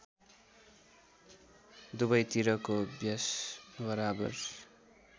दुवैतिरको व्यास बराबर